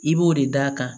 I b'o de d'a kan